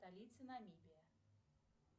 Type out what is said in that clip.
столица намибия